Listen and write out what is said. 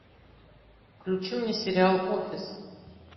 включи мне сериал офис